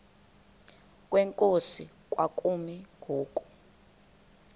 kwenkosi kwakumi ngoku